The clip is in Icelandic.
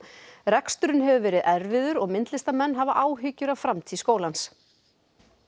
reksturinn hefur verið erfiður og myndlistarmenn hafa áhyggjur af framtíð skólans